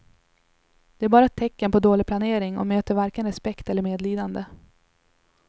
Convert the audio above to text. Det är bara ett tecken på dålig planering och möter varken respekt eller medlidande.